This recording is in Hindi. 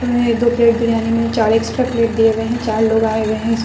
इन्हें दो प्लेट बिरयानी में चार एक्स्ट्रा प्लेट दिए हुए है चार लोग आए हुए है इस --